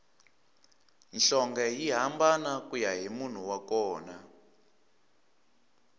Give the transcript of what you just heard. nhlonge yi hambana kuya hi munhu wa kona